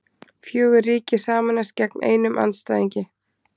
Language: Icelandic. Fjögur ríki sameinast gegn einum andstæðingi